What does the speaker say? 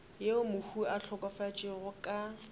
yeo mohu a hlokafetšego ka